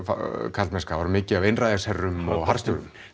karlmennska það var mikið af einræðisherrum og harðstjórum